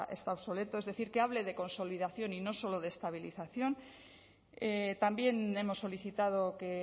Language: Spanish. está obsoleto que hable de consolidación y no solo de estabilización también hemos solicitado que